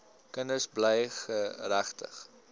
kinders bly geregtig